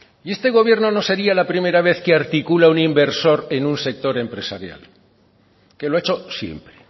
y este gobierno no sería la primera vez que articula un inversor en un sector empresarial que lo ha hecho siempre